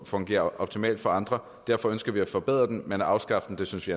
fungerer optimalt for andre derfor ønsker vi at forbedre den men at afskaffe den synes vi